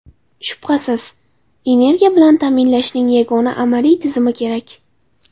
Shubhasiz, energiya bilan ta’minlashning yangi amaliy tizimi kerak.